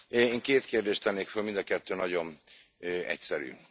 Én két kérdést tennék föl, mind a kettő nagyon egyszerű.